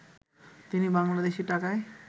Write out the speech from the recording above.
তিনি বাংলাদেশী টাকায়